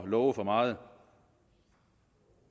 love for meget